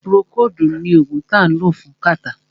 Púrókòodu ní oògùn tí a lò fún kàtá.